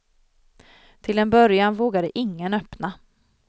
Till en början vågade ingen öppna.